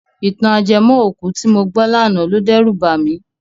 Ìtàn ajẹmọ́-òkú tí mo gbọ́ lánàá lo dẹ́rù bà mí.